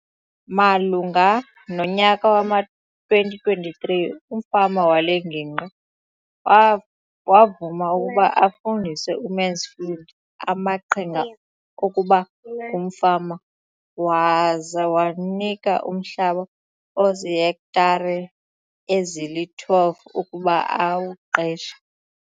Malunga nonyaka wama-2023, umfama wale ngingqi wavuma ukuba afundise uMansfield onke amaqhinga okuba ngumfama waza wamnika umhlaba ozihektare ezili-12 ukuba awuqeshe.